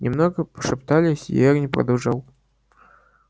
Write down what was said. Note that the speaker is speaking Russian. немного пошептались и эрни продолжал